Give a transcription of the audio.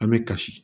An bɛ kasi